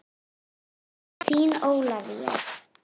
Þín Ólafía.